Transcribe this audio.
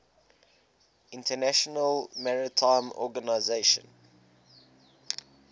international maritime organization